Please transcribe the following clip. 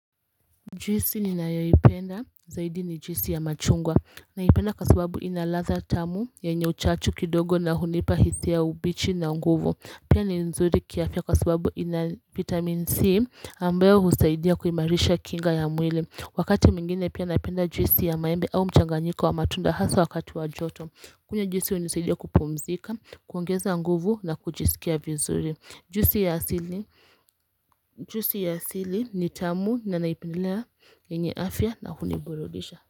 Juisi ni nayaipenda zaidi ni juisi ya machungwa naipenda kasubabu inaladha tamu yanye uchachu kidogo na hunipa hisia ubichi na nguvu pia ni nzuri kiafya kasubabu ina vitamin C ambayo husaidia kuimarisha kinga ya mwili Wakati mingine pia napenda juisi ya maembe au mchanganyiko wa matunda hasa wakati wajoto kunywa juhisi unisaidia kupumzika kuongeza nguvu na kujisikia vizuri Juisi ya sili ni tamu nanaipenndelea Nenye afya na huni burudisha.